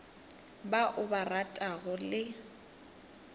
ba o ba ratago le